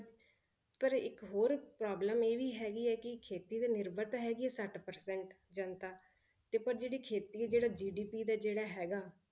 ਪਰ ਇੱਕ ਹੋਰ problem ਇਹ ਵੀ ਹੈਗੀ ਹੈ ਕਿ ਖੇਤੀ ਤੇ ਨਿਰਭਰ ਤਾਂ ਹੈਗੀ ਸੱਠ percent ਜਨਤਾ ਤੇ ਪਰ ਜਿਹੜੀ ਖੇਤੀ ਆ ਜਿਹੜਾ GDP ਦਾ ਜਿਹੜਾ ਹੈਗਾ